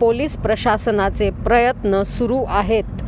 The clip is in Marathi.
पोलिस प्रशासनाचे प्रयत्न सुरू आहेत